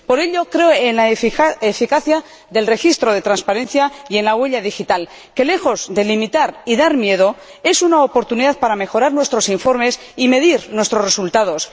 Por ello creo en la eficacia del registro de transparencia y en la huella digital, que, lejos de limitar y dar miedo, es una oportunidad para mejorar nuestros informes y medir nuestros resultados.